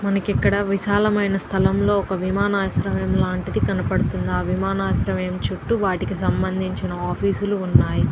మనకి ఇక్కడ విషాలమయిన స్థలం లో ఒక విమనశ్రేయం లాంటిది కనపడుతుంది. ఆ విమనశ్రేయం చుటూ వాటికీ సమందించిన ఆఫీస్ వున్నాయి.